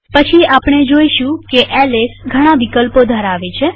પછી આપણે જોઈશું કે એલએસ ઘણા વિકલ્પો ધરાવે છે